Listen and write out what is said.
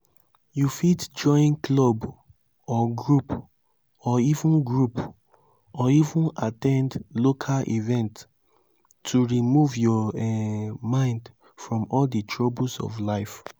you fit join club or group or even group or even at ten d local events to remove your um mind from di troubles of life